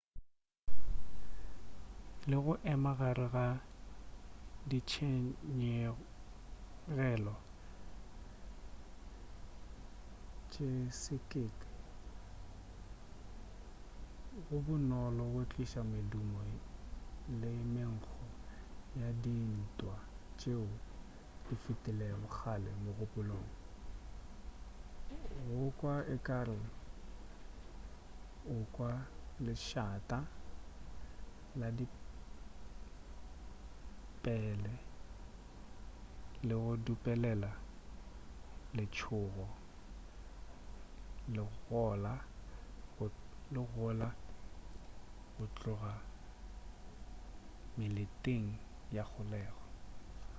le go ema gare ga ditshenyegelo tše sekete go bonolo go tliša medumo le menkgo ya dintwa tšeo di fetilego kgale kgopolong go kwa ekare o kwa lešata la dipele le go dupelela letšhogo le gola go tloga meleteng ya kgolego